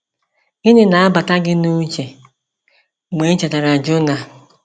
Gịnị na-abata gị n’uche mgbe i chetara Jona?